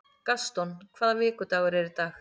Gaston, hvaða vikudagur er í dag?